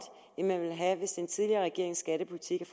end man ville have hvis den tidligere regerings skattepolitik